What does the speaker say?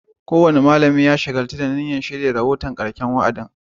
Kowane malami ya shagaltu da shirya rahoton karshen wa'adin